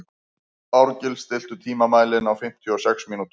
Árgils, stilltu tímamælinn á fimmtíu og sex mínútur.